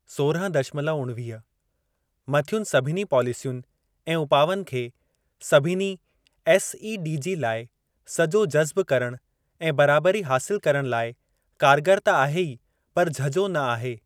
सोरहं दशमलव उणवीह मथियुनि सभिनी पॉलिसियुनि ऐं उपावनि खे सभिनी एसईडीजी लाइ सजो जज़्ब करण, ऐं बराबरी हासिल करण लाइ कारगर त आहे ई पर झझो न आहे।